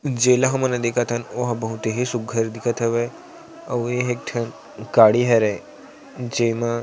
जेला हमन ल देखत हन ओ ह बहुत ही सुघ्घर दिखत हवे आऊ ये ह एक ठक गाड़ी हरे जेमा--